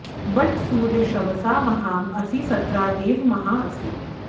but सूर्य श्रवसा महाँ असि सत्रा देव महाँ असि